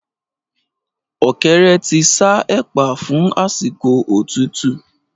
Ọ̀kẹ́rẹ́ ti ṣa ẹ̀pà fún àsìkò òtútú